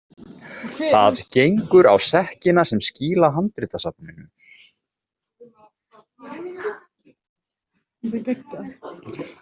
Það gengur á sekkina sem skýla handritasafninu.